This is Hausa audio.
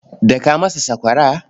Daka masa sakwara.